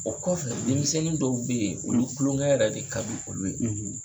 Ɔ kɔfɛ denmisɛnnin dɔw be ye, olu kuloŋɛ yɛrɛ de kadi olu ye.